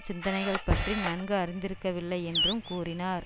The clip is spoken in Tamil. சிந்தனைகள் பற்றி நன்கு அறிந்திருக்கவில்லை என்றும் கூறினார்